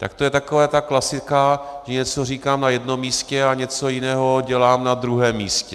Tak to je taková ta klasika, že něco říkám na jednom místě a něco jiného dělám na druhém místě.